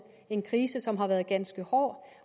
en krise som har været ganske hård